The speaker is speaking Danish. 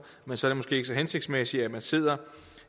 men så er det måske ikke så hensigtsmæssigt at man sidder